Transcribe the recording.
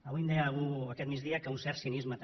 avui em deia algú aquest migdia que un cert cinisme també